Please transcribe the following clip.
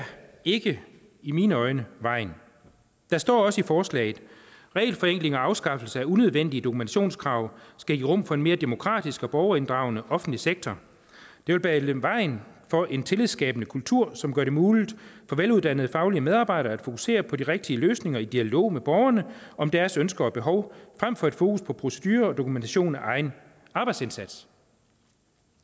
ikke i mine øjne vejen der står også i forslaget regelforenklingen og afskaffelsen af unødvendige dokumentationskrav skal give rum for en mere demokratisk og borgerinddragende offentlig sektor det vil bane vejen for en tillidsskabende kultur som gør det muligt for veluddannede faglige medarbejdere at fokusere på de rigtige løsninger i dialog med borgerne om deres ønsker og behov frem for et fokus på procedurer og dokumentation af egen arbejdsindsats